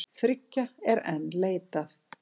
Þriggja er enn leitað.